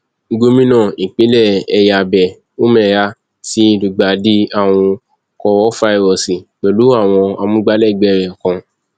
gómìnà ìpínlẹ ẹyábẹ umeha ti lùgbàdì àrùn kórafáírọọsì pẹlú àwọn amúgbálẹgbẹ rẹ kan